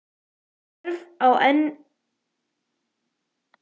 En er þörf á enn einni líkamsræktarstöðinni?